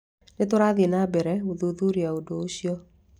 Nĩ tũrathiĩ na mbere gũthuthuria ũndũ ũcio.